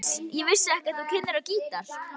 Ég vissi ekki að þú kynnir á gítar.